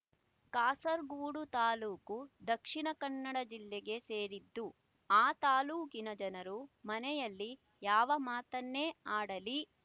ಕಾಸರಗೂಡು ತಾಲೂಕು ದಕ್ಷಿಣ ಕನ್ನಡ ಜಿಲ್ಲೆಗೆ ಸೇರಿದ್ದು ಆ ತಾಲ್ಲೂಕಿನ ಜನರು ಮನೆಯಲ್ಲಿ ಯಾವ ಮಾತನ್ನೇ ಅಡಲಿ